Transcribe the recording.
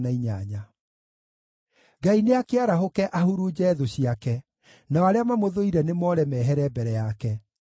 Ngai nĩakĩarahũke, ahurunje thũ ciake; nao arĩa mamũthũire nĩmoore mehere mbere yake.